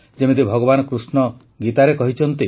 ଯେମିତି ଭଗବାନ କୃଷ୍ଣ ଗୀତାରେ କହିଛନ୍ତି